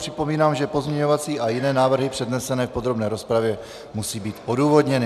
Připomínám, že pozměňovací a jiné návrhy přednesené v podrobné rozpravě musí být odůvodněny.